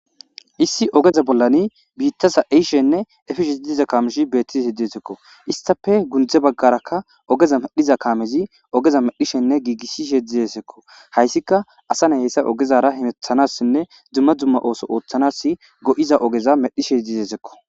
issi ogeza bollani biittasa eishenne efishe idiza kaameshi beettizi hidesekko istafe gundze baggarakka ogeza medhiza kaamezi ogeza medhishenne giigisishe dizesekko hayssika asa ne hessa ogezara himethanassinne dzumma dzumma ooso ooththanas go7iza ogeza medhishe dizesekko